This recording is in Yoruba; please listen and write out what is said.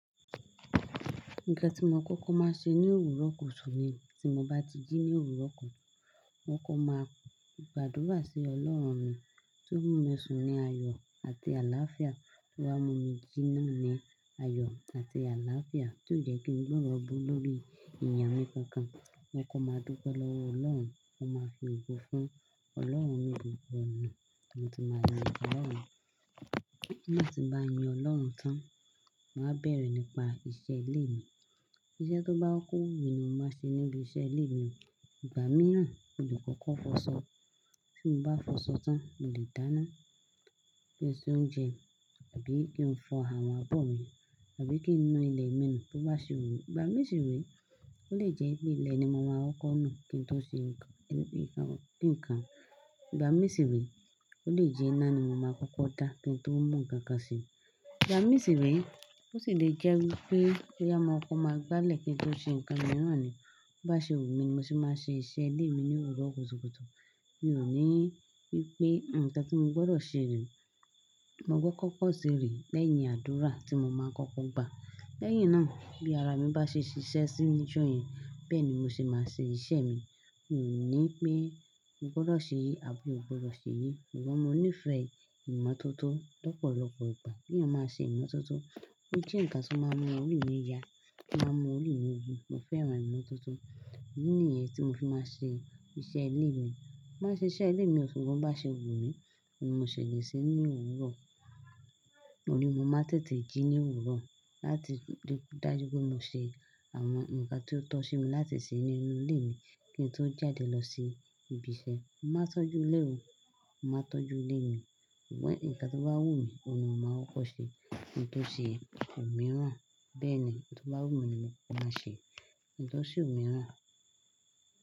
Nǹkan tí mo kọ́kọ́ máa ṣe ní òwúrọ̀ kùtùkùtu ni tí mo bá ti jí ní òwúrọ̀ kutu mo máa kọ gbàdúrà sí ọlọ́run mi tí ó mú mi sùn ní ayọ̀ àti àláàfíà, tó wá mú mi jí náà ni ayọ̀ àti àláàfíà, ti kó jẹ kí n gbọ iro aburu lórí ènìyàn mi kankan. Mo máa dúpẹ́ lọ́wọ́ ọlọ́run, mo máa fi ogo fún ọlọ́run ni gbogbo ọ̀nà, nígbàtí mo bá yin ọlọ́run tán, màá bẹ̀rẹ̀ nípa iṣẹ́ ilé mi. Iṣẹ́ tó bá kọ́kọ́ wumi ni mo máa n ṣe níbi iṣẹ́ ilé mi. Ìgbà mìíràn, mo le kọ́kọ́ f'ọṣọ. Tí mo bá f'ọṣọ tán, mo lè dáná, kí n ṣe oúnjẹ àbí kí n fọ àwọn abọ̀ mi àbí kí n nu ilẹ̀ mi nù tó bá ṣe wù mí. Ìgbà mìi si re ó lè jẹ́ pé ilẹ̀ ni mo ma kọ́kọ́ nù kí n tó ṣe nǹkan. Ìgbà mi si re, ó lè jẹ́ iná ni mo ma kọ́kọ́ dá kí n tó mu ǹkankan ṣe. Ìgbà mii si re, ó sì lè jẹ́ wí pé boya maa kọ́kọ́ máa gbálẹ̀ kí n to ṣe ǹkan mìíràn ni. Bí o ba ṣe wù mí ni mo ṣe máa ṣe iṣẹ́ ilé mi ní òwúrọ̀ kùtùkùtu. Mi ò ní wí pé, "Nǹkan tí mo gbọ́dọ̀ ṣe rè." Mo gbọ́ kọ́kọ́ ṣe rè lẹ́yìn àdúrà tí mo máa n kọ́kọ́ gbà. Lẹ́yìn náà bí ara mi bá ṣe ṣiṣẹ́ sí ni ojo yẹn, bẹ́ẹ̀ ni mo ṣe máa ṣe iṣẹ́ mi. Mi ò ní pé, "Mo gbọ́dọ̀ ṣe eyi àbí mi ò gbọ́dọ̀ ṣe eyì." Ṣùgbọ́n mo nífẹ̀ẹ́ ìmọ́tótó lọ́pọ̀lọpọ̀ ìgbà. Bí a bá ṣe ìmọ́tótó, ó jẹ́ ǹkan tí ó máa mú ori mi yá, to ma n mú ori mi wu. Mo fẹ́ràn ìmọ́tótó. Idi níyẹn tí mo fi máa n ṣe iṣẹ́ ilé mi. Mo ma n ṣiṣẹ́ ilé mi ṣùgbọ́n bo bá ṣe wù mí ni mo se le ṣe ní òwúrọ̀. Òó ni mo máa tètè jí ní òwúrọ̀ láti dájú pé mo ṣe àwọn ǹkan tí ó tọ́ sí mi láti ṣe nínú ilé mi kí n tó jáde lọ sí ibiṣẹ́. Mo máa tọ́jú ilé mi. Mo máa tọ́jú ilé mi. Ṣùgbọ́n ǹkan tí ó bá wù mí ni mo máa kọkọ ṣe. Ki nto ṣe òmíràn, bẹ́ẹ̀ ni, n tó bá wù mí ni mo máa ṣe. Ki n to ṣe òmíràn.